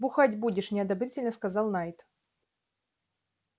бухать будешь неодобрительно сказал найд